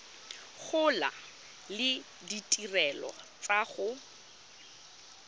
gola le ditirelo tsa go